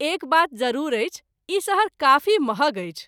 एक बात जरूर अछि ई शहर काफी महग अछि।